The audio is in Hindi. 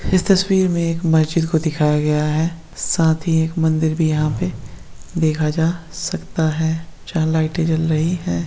इस तस्वीर में एक मस्जिद को दिखाया गया है साथ ही एक मंदिर भी यहाँ पे देखा जा सकता है जहाँ लाइटे जल रही है।